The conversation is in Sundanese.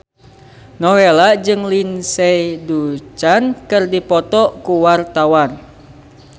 Nowela jeung Lindsay Ducan keur dipoto ku wartawan